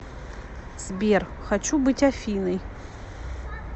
сбер хочу быть афиной